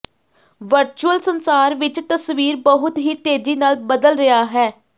virtual ਸੰਸਾਰ ਵਿੱਚ ਤਸਵੀਰ ਬਹੁਤ ਹੀ ਤੇਜ਼ੀ ਨਾਲ ਬਦਲ ਰਿਹਾ ਹੈ